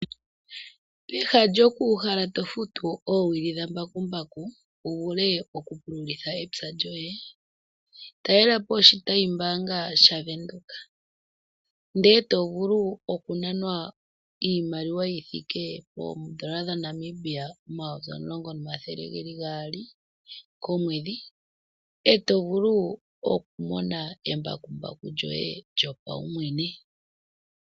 Peha lyoku uhala tofutu oowili dha mbakumbaku wuvule oku pululitha epya lyoye talelapo oshitayi mbaanga sha Venduka ndelw tovulu okunanwa iimaliwa yithike poondola dha Namibia omayovi omulongo nomathele geli gaali komwedhi etovulu okumona embakumbaku lyoye lyopawumwene.